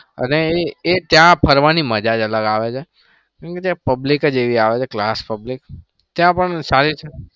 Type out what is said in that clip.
અને એ ત્યાં ફરવાની મજા જ અલગ આવે છે. કેમ કે ત્યાં public જ આવે છે class public.